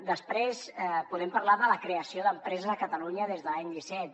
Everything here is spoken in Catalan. després podem parlar de la creació d’empreses a catalunya des de l’any disset